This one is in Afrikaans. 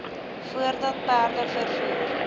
voordat perde vervoer